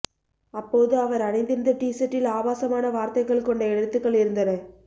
அப்போது அவர் அணிந்திருந்த டீசர்ட்டில் ஆபாசமான வார்த்தைகள் கொண்ட எழுத்துக்கள் இருந்தன